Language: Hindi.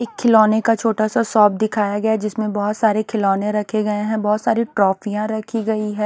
इक खिलौने का छोटा सा सॉप दिखाया गया जिसमें बहोत सारे खिलौने रखे गए हैं बहोत सारी ट्रॉफियां रखी गई है।